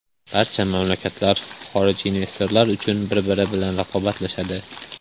Barcha mamlakatlar xorijiy investorlar uchun bir-biri bilan raqobatlashadi.